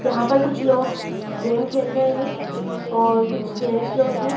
यहां पर कुछ लोग गेम खेल रहे हैं और कुछ जेंट्स लोग हैं।